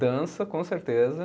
Dança, com certeza.